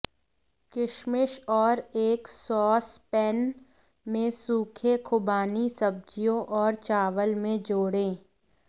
किशमिश और एक सॉस पैन में सूखे खुबानी सब्जियों और चावल में जोड़ें